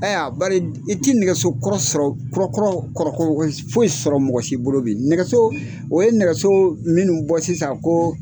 Aya bari i ti nɛgɛsokɔrɔ sɔrɔ kɔrɔkɔrɔ sɔrɔ mɔgɔsi bolo bi nɛgɛso o ye nɛgɛso minnu bɔ sisan ko.